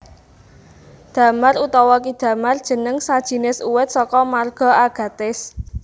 Damar utawa ki damar jeneng sajinis uwit saka marga Agathis